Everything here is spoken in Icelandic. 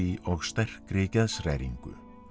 og sterkri geðshræringu